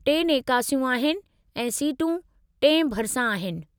टे नेकासियूं आहिनि, ऐं सीटूं टिएं भरिसां आहिनि।